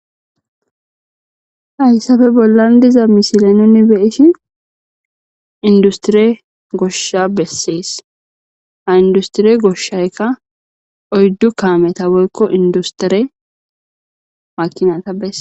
Hayssafe bollan diza misile nuni be'ishi industire goshsha besses ha industire goshshaykka oyddu kaameta woykko industire makinata beses.